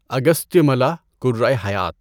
اگستیاملا کرۂ حیات